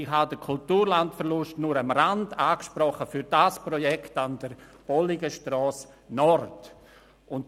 Ich habe den Kulturlandverlust für das Projekt Bolligen Nord nur am Rand angesprochen.